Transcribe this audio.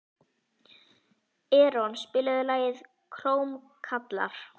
Eron, spilaðu lagið „Krómkallar“.